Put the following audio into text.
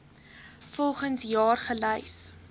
volgens jaar gelys